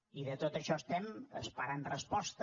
i de tot això estem esperant resposta